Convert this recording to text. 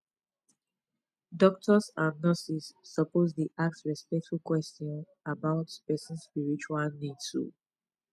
doctors and nurses suppose dey ask respectful question about person spiritual needs um